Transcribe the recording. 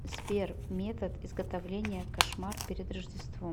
сбер метод изготовления кошмар перед рождеством